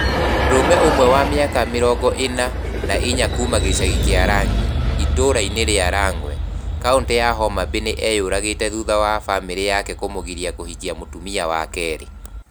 Mũndũrũme ũmwe wa mĩaka mĩrongo ĩna na inya kuuma gĩcagi kĩa Rang'i, ĩtũũra rĩa Rang'we, kaũntĩ ya Homa Bay nĩ eyũragĩte thutha wa bamirĩ yake kũmũgiria kũhikia mũtumia wa kerĩ.